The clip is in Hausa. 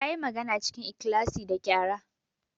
Ta yi maganar cikin ikhlasi da qyara.